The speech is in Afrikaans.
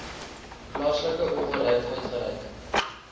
plaaslike owerheid uitgereik